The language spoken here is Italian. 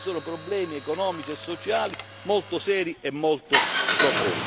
Concludo io provo molta simpatia e affetto per il popolo ungherese